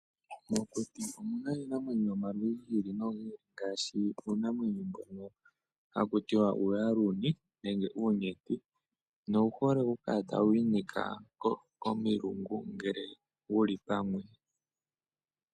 Momakuti omuna iinamwenyo yomaludhi gi ili nogi ili ngaashi uunamwenyo mbono haku tiwa uuyaaludhi nenge uunyenti, nowu hole okukala tawu inika komilungu ngele wuli pamwe.